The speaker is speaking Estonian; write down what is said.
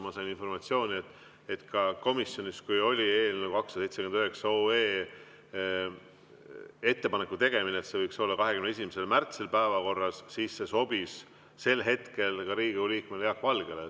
Ma sain informatsiooni, et kui komisjonis tehti ettepanek, et eelnõu 279 võiks olla 21. märtsi päevakorras, siis sel hetkel see sobis ka Riigikogu liikmele Jaak Valgele.